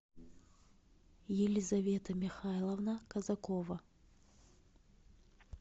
елизавета михайловна казакова